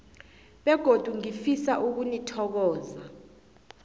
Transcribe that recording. begodu ngifisa ukunithokoza